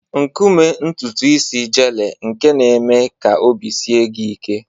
Nkume ntutu isi gele nke na-eme ka obi sie gị ike.